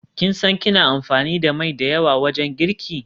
Kin san kina amfani da mai da yawa wajen girki?